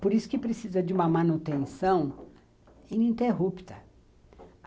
Por isso que precisa de uma manutenção ininterrupta.